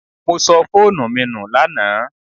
I lost my phone yesterday